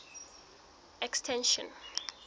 extension